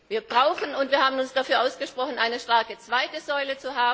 Wir brauchen und wir haben uns dafür ausgesprochen auch eine starke zweite Säule.